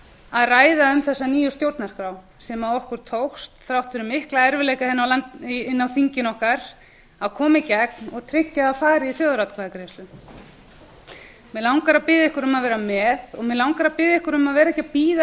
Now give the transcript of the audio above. að hvað um þessa nýju stjórnarskrá sem okkur tókst þrátt fyrir mikla erfiðleika inni á þinginu okkar að koma í gegn og tryggja að ari þjóðaratkvæðagreiðslu mig langar að biðja ykkur um að vera með og mig langar að biðja ykkur um að vera ekki að bíða